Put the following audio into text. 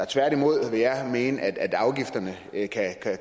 tværtimod mene at afgifterne